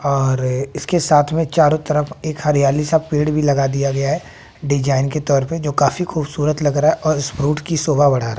अरे इसके साथ में चारों तरफ एक हरियाली सा पेड़ भी लगा दिया गया है डिजाइन के तौर पर जो काफी खूबसूरत लग रहा है और इस फ्रूट की शोभा बड़ा रहा--